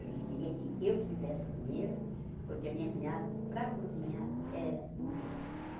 Ele queria que eu fizesse a comida, porque a minha cunhada, para cozinhar, era um desastre.